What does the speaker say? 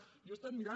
jo ho he estat mirant